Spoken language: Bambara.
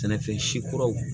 Sɛnɛfɛn si kuraw